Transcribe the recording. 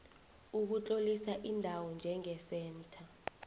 ukutlolisa indawo njengesentha